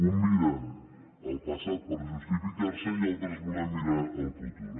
uns miren al passat per justificar se i altres volem mirar al futur